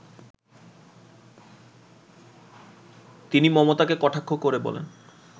তিনি মমতাকে কটাক্ষ করে বলেন